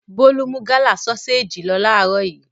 Bólú mú Gala sọ́séjì lọ láàárọ̀ yìí.